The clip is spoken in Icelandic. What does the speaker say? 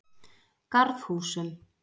Garðhúsum